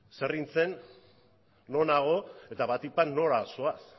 zer hintzen non hago eta batipat nora zoaz